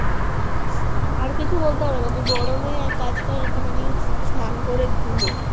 আর কিছু বলতে হবে না তুই গরমে কাজ কর তুই একটুখানি স্নান করে ঘুম